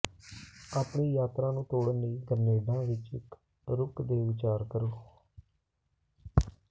ਆਪਣੀ ਯਾਤਰਾ ਨੂੰ ਤੋੜਨ ਲਈ ਗ੍ਰੇਨਾਡਾ ਵਿਚ ਇਕ ਰੁਕ ਤੇ ਵਿਚਾਰ ਕਰੋ